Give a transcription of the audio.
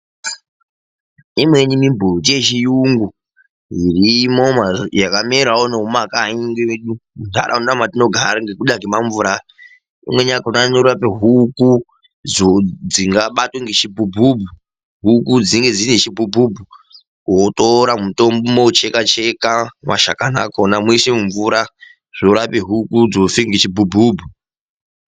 Imweni mimbuti yechiyungu irimo yakamerawo nemumakanyi medu muntaraunda metinogara ngekuda kemamvura aya. Imweni yakhona inorape huku dzingabatwa ngechibhubhubhu, huku dzinenge dzine chibhubhubhu. Wotora mutombo mouchekacheka mashakani akhona, moise mumvura zvorape huku dzofe ngechibhubhubhu.